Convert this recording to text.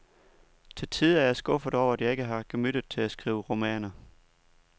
Til tider er jeg skuffet over, at jeg ikke har gemyttet til at skrive romaner.